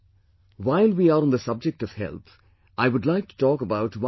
While we are on the subject of health, I would like to talk about one more issue